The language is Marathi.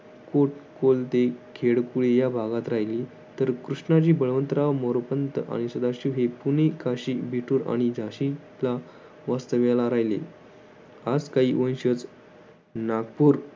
खेडकुळी या भागात राहिली तर कृष्णाजी बळवंतराव मोरपंथ आणि सदाशिव हे पुणे काशी वेठूर आणि झाशीचा वास्तव्याला राहिले आज काही वंशज नागपूर